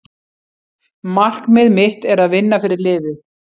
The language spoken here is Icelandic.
Markmið mitt er að vinna fyrir liðið.